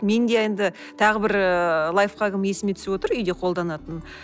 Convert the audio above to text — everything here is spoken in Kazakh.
менде енді тағы бір ыыы лайфхагым есіме түсіп отыр үйде қолданатын